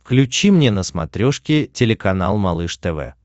включи мне на смотрешке телеканал малыш тв